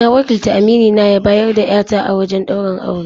Na wakilta aminina ya bayar da 'ya ta a wajen ɗaurin aure.